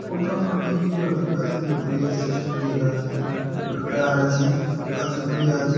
पंखा वनखा T V बिकवात बढ़िया